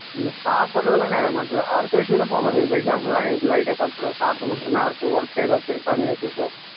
இந்த சாப்பிடுறது எல்லாம் நிறைய matter அடுத்த issue ல இப்போ example ஆ நீ light ஆ சாப்பிடுற சாப்பிட்டு முடிச்ச உடனே அடுத்து work ஏதாவது இருக்கான்னு யோசிப்ப